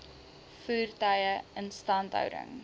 voertuie instandhouding